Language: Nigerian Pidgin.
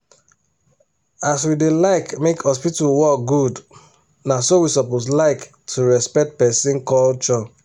as we da like make hospital work good na so we suppose like to respect person culture